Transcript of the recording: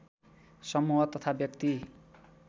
समूह तथा व्यक्ति